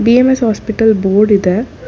BMS hospital board ಇದೆ.